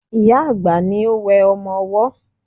Ìyá-àgbà ni ó wẹ ọmọ ọwọ́